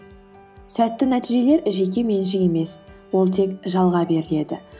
сәтті нәтижелер жекеменшік емес ол тек жалға беріледі